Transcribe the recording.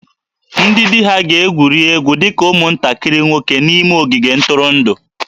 Ndị di ha ga-egwuri egwu dị ka ụmụntakịrị nwoke n'ime ogige ntụrụndụ